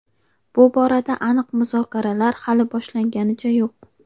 Bu borada aniq muzokaralar hali boshlanganicha yo‘q.